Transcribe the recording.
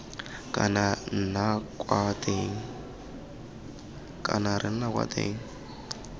kana re nna kwa teng